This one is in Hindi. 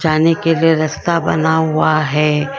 जाने के लिए रस्ता बना हुआ है।